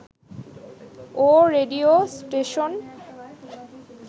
O radio station